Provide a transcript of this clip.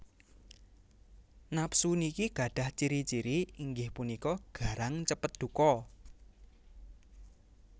Nafsu niki gadah cri ciri inggih punika garang cepet duko